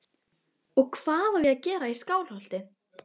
Og hvað á ég að gera í Skálholti?